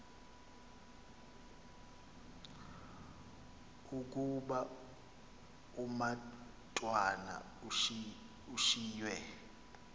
ukuba umatwana ushiywe